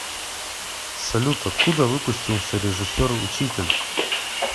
салют откуда выпустился режиссер учитель